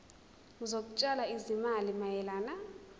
zokutshala izimali mayelana